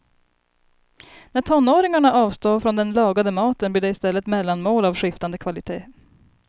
När tonåringarna avstår från den lagade maten blir det i stället mellanmål av skiftande kvalitet.